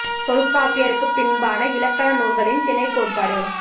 தொல்காப்பியருக்குப் பின்பான இலக்கண நூல்களில் திணைக் கோட்பாடு